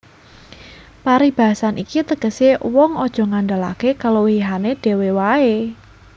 Paribasan iki tegesé wong aja ngandhelaké kaluwihané dhéwé waé